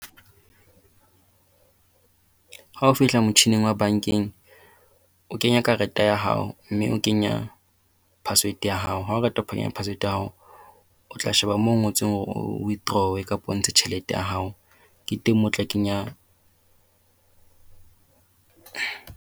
Ha o fihla motjhining wa bankeng, o kenya karete ya hao, mme o kenya password ya hao. Ha o qeta ho kenya password ya hao, o tla sheba mo ngotsweng hore o withdraw-e kapa o ntshe tjhelete ya hao. Ke teng moo o tla kenya